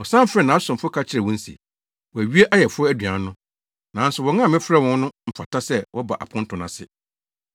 “Ɔsan frɛɛ nʼasomfo ka kyerɛɛ wɔn se, ‘Wɔawie ayeforo aduan no. Nanso wɔn a mefrɛɛ wɔn no mfata sɛ wɔba aponto no ase.